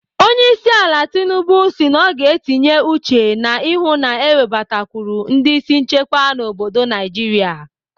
Onyeisiala Tinubu si na ọ ga-etinye uchu na ịhụ na-ewebatakwụrụ ndị isi nchekwa n'obodo Naijiria.